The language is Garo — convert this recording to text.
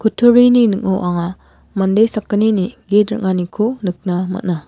kutturini ning·o anga mande sakgnini git ring·aniko nikna man·a.